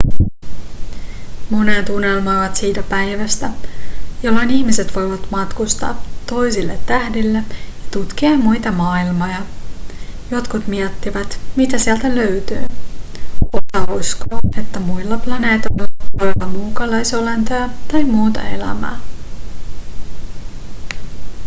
monet unelmoivat siitä päivästä jolloin ihmiset voivat matkustaa toisille tähdille ja tutkia muita maailmoja jotkut miettivät mitä sieltä löytyy osa uskoo että muilla planeetoilla voi olla muukalaisolentoja tai muuta elämää